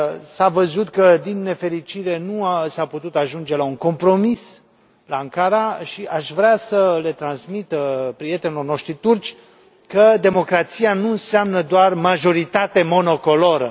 S a văzut că, din nefericire, nu s a putut ajunge la un compromis la Ankara și aș vrea să le transmit prietenilor noștri turci că democrația nu înseamnă doar majoritate monocoloră.